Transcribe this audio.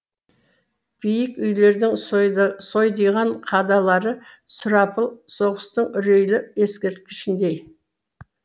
биік үйлердің сойдиған қадалары сұрапыл соғыстың үрейлі ескерткішіндей